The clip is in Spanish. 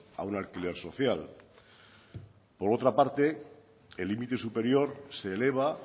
a un alquiler social por otra parte el límite superior se eleva